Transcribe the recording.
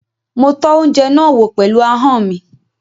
Mo tọ́ oúnjẹ náà wò pẹ̀lú ahọ́n mi.